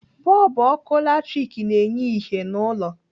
Bọlbụ ọkụ latrik na-enye ìhè n'ụlọ.